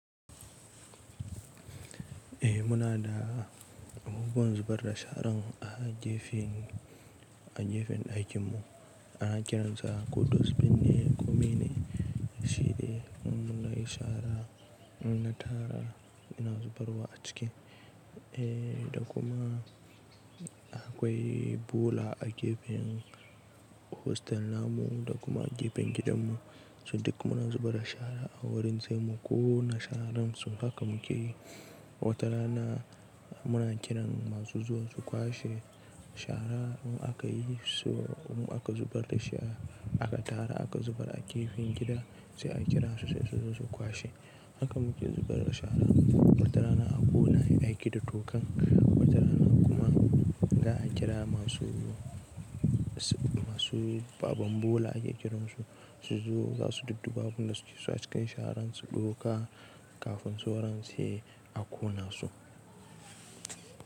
Eh muna da ubun zuɓar da sharan a gefen, a gefen ɗakinmu ana kiransa ko dosbin ne komine shiɗe in nayi shara, inna tara ina zubarwa a ciki. Eh da kuma akwai bola a gefen hostel namu da kuma gefen gidanmu su duk muna zubarda shara a wurin saimu ƙona sharan so haka muke yi. Wata rana muna kiran masu zuwa su kwashe shara in akayi so in aka zubar dashi aka tara aka zubar a gefen gida sai a kirasu sai suzo su kwashe. Haka muke zubarda shara. Wata rana a ƙona ayi aiki da tokan wata rana kuma za'a kira masu, masu, baban bola ake kiransu suzo zasu dudduba abunda suke so a cikin sharan su ɗauka kafin sauran sai a ƙona su.